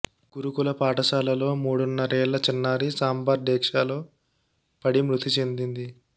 గురుకుల పాఠశాలలో మూడున్నరేళ్ల చిన్నారి సాంబార్ డేక్షాలో పడి మృతి చెందింది